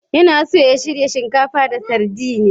Yana so ya shirya shinkafa da sardine.